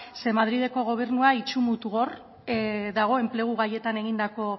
ze madrileko gobernua itsu mutu gor dago enplegu gaietan egindako